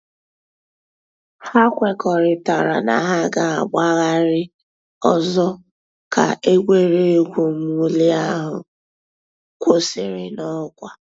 Hà kwèkọ̀rìtàrā nà hà gà-àgbàghàrì òzò̩ kà ègwè́régwụ̀ mwụ̀lì àhụ̀ kwụsìrì n'ọkwà.